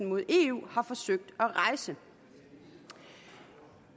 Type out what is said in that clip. mod eu har forsøgt at rejse